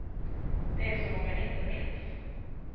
Det är som om jag inte minns.